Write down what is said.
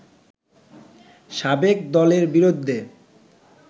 সাবেক দলের বিরুদ্ধে